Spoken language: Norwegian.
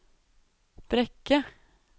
Brekke